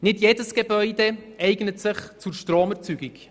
Nicht jedes Gebäude eignet sich für die Stromerzeugung.